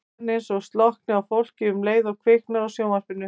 Síðan eins og slokkni á fólki um leið og kviknar á sjónvarpinu.